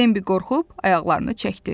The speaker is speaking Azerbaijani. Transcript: Bembi qorxub ayaqlarını çəkdi.